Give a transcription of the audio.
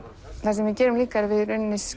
það sem við gerum líka er að við